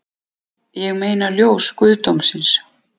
Ég meina ljós guðdómsins